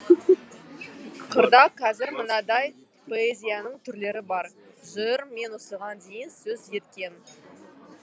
қырда қазір мынадай поэзияның түрлері бар жыр мен осыған дейін сөз еткен